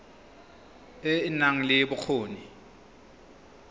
e e nang le bokgoni